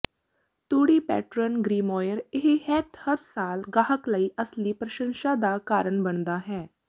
ਤੂੜੀ pattern grimoire ਇਹ hat ਹਰ ਸਾਲ ਗਾਹਕ ਲਈ ਅਸਲੀ ਪ੍ਰਸ਼ੰਸਾ ਦਾ ਕਾਰਨ ਬਣਦਾ ਹੈ